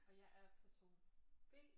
Og jeg er person B